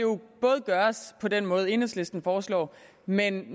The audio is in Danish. gøres på den måde enhedslisten foreslår men